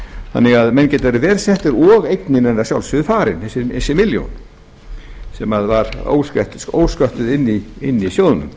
þannig að menn geta verið verr settir og eignin er að sjálfsögðu farin þessi milljón sem var sköpum inni í sjóðnum